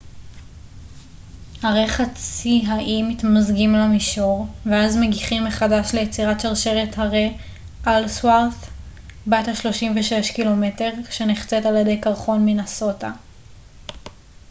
הרי חצי האי מתמזגים למישור ואז מגיחים מחדש ליצירת שרשרת הרי אלסוורת' בת ה-360 קילומטר שנחצית על ידי קרחון מינסוטה